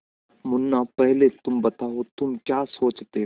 मुन्ना पहले तुम बताओ तुम क्या सोचते हो